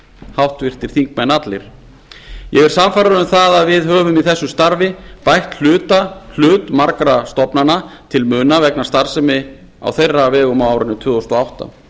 háttvirtir þingmenn ég er sannfærður um að við höfum í þessu starfi bætt hlut margra stofnana til muna vegna starfsemi á þeirra vegum á árinu tvö þúsund og átta